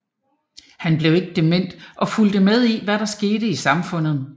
Han blev ikke dement og fulgte med i hvad der skete i samfundet